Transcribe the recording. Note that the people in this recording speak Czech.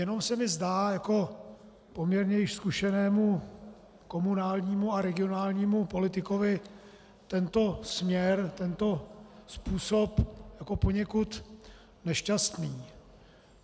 Jenom se mi zdá jako poměrně i zkušenému komunálnímu a regionálnímu politikovi tento směr, tento způsob jako poněkud nešťastný.